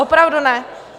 Opravdu ne?